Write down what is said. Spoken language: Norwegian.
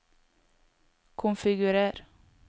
konfigurer